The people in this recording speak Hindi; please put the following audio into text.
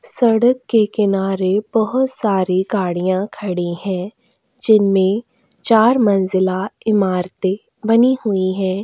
सड़क के किनारे बहोत सारी गाड़ियाँ खड़ी हैं जिनमें चार मंजिला इमारतें बनी हुई हैं।